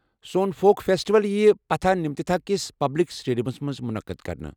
سون folk festival ییٚہِ پتھانہ مِتھِتا کِس پبلک سٹیڈیم مَنٛز مُنعقد کرنہٕ۔